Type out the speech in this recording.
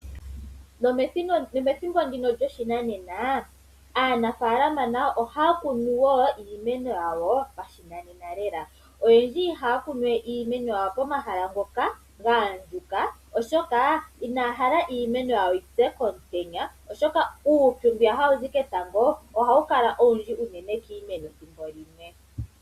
Nomethimbo ndino lyoshinanena aanafaalama nayo ohaya kunu wo iimeno yawo pashinanena lela. Oyendji ihaya kunu iimeno yawo pomahala mpoka pwa andjuka oshoka inaya hala iimeno yawo yipye komutenya oshoka uupyu mbu hawu zi ketango ohawu kala owundji unene kiimeno ethimbolimwe.